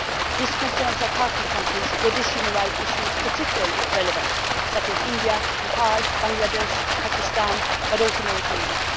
This concerns our partner countries in which this human rights issue is particularly relevant, such as India, Nepal, Bangladesh and Pakistan, but also Mauritania.